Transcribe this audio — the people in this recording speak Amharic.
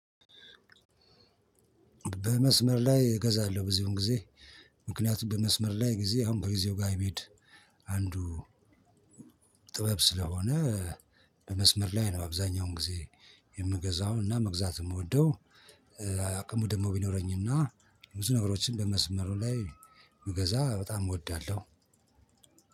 በመስመር ላይ እገዛለሁ ብዙን ጊዜ ምክንያቱም በመስመር ላይ ጊዜ አሁን ከጊዜው ጋር የሜሄድ አንዱ ጥበብ ስለሆነ በመስመር ላይ ነው። አብዛኛውን ጊዜ የምገዛው እና መግዛት የምወደው አቅሙ ደግሞ ቢኖረኝ እና ብዙ ነገሮችን በመስመሩ ላይ ብገዛ በጣም እወዳለሁ።